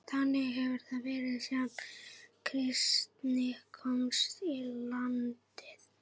Þannig hefur það verið síðan kristni komst í landið.